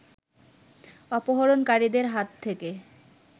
অপহরণকারীদের হাত থেকে